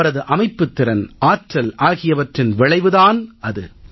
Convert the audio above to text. அவரது அமைப்புத் திறன் ஆற்றல் ஆகியவற்றின் விளைவு தான் இது